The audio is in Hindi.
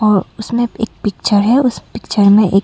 उसने एक पिक्चर है उस पिक्चर में एक--